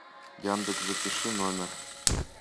яндекс запиши номер